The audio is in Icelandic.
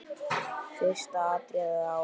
Fyrsta atriðið á.